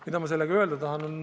Mida ma sellega öelda tahan?